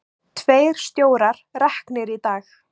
Tveir stjórar reknir í dag